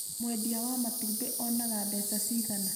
mwendia wa matumbĩ oonaga mbeca ciigana?